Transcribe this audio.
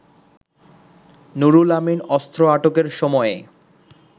নুরুল আমিন অস্ত্র আটকের সময়ে